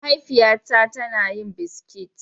Mahaifiya na ta na yin biskit.